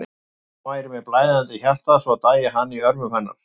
En hann væri með blæðandi hjarta og svo dæi hann í örmum hennar.